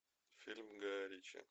фильм гая ричи